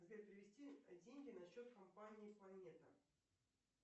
сбер перевести деньги на счет компании планета